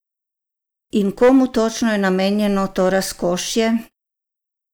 In komu točno je namenjeno to razkošje?